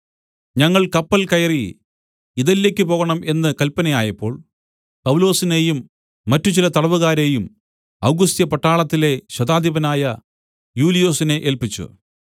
ഞങ്ങൾ കപ്പൽ കയറി ഇതല്യയ്ക്ക് പോകേണം എന്ന് കല്പനയായപ്പോൾ പൗലൊസിനെയും മറ്റ് ചില തടവുകാരെയും ഔഗുസ്ത്യപട്ടാളത്തിലെ ശതാധിപനായ യൂലിയൊസിനെ ഏല്പിച്ചു